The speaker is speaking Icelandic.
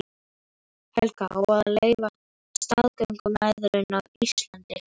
Helga: Á að leyfa staðgöngumæðrun á Íslandi?